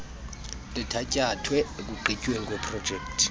lithatyathwe ekuqhutyweni kweeprojekthi